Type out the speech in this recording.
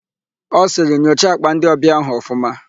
Ọ sịrị, "nyocha àkpà ndịọbịa áhụ̀ ọfụma"!.